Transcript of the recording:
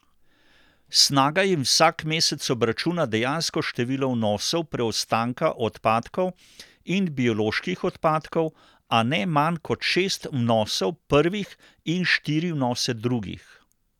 Snaga jim vsak mesec obračuna dejansko število vnosov preostanka odpadkov in bioloških odpadkov, a ne manj kot šest vnosov prvih in štiri vnose drugih.